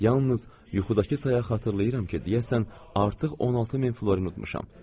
Yalnız yuxudakı saya xatırlayıram ki, deyəsən artıq 16000 florin unutmuşam.